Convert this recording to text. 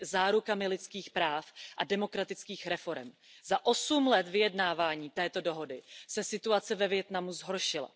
zárukami lidských práv a demokratických reforem. Za 8 let vyjednávání této dohody se situace ve Vietnamu zhoršila.